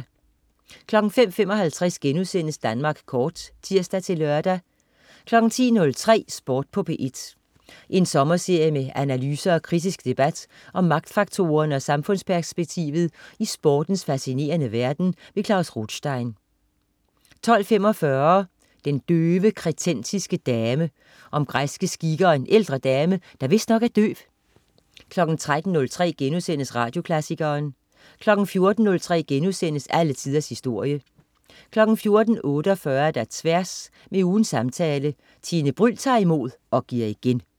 05.55 Danmark Kort* (tirs-lør) 10.03 Sport på P1. En sommerserie med analyser og kritisk debat om magtfaktorerne og samfundsperspektivet i sportens facinerende verden. Klaus Rothstein 12.45 Den døve kretensiske dame. Om græske skikke og en ældre dame, der vist nok er døv 13.03 Radioklassikeren* 14.03 Alle tiders historie* 14.48 Tværs. Med ugens samtale. Tine Bryld tager imod og giver igen